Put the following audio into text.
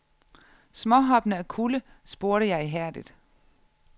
Småhoppende af kulde spurgte jeg ihærdigt.